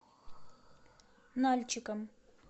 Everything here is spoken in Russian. нальчиком